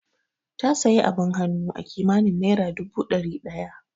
Ta sayi abin hannu akimanin naira dubu dari daya